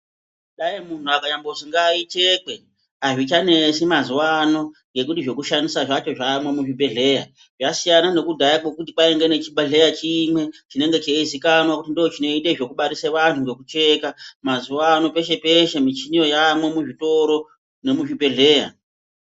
Dai muntu akanyambozi ngaichekwe hazvichanesi mazuva ano ngekuti zvekushandisa zvacho zvamwo muzvibhedhleya. Zvasiyana nekudhaya kwekuti kwainge nechibhedhleya chimwe chinenge cheizikanwa kuti ndochinoite zvekubarisa vantu nekucheka. Mazuva ano peshe-peshe michini yamwo muzvitoro nemuzvibhedhleya.